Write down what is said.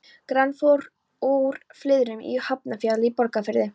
Granófýr úr Flyðrum í Hafnarfjalli í Borgarfirði.